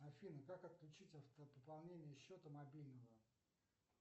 афина как отключить автопополнение счета мобильного